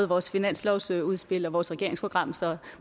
vores finanslovsudspil og i vores regeringsprogram så